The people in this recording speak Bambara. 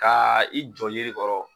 kaa i jɔ yiri kɔrɔ